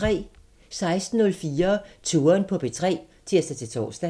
16:04: Touren på P3 (tir-tor)